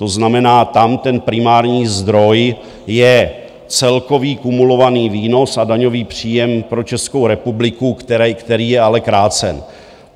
To znamená, tam ten primární zdroj je celkový kumulovaný výnos a daňový příjem pro Českou republiku, který je ale krácen.